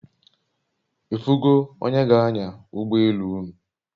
Ifu go onye g'anya ugbo elu unu?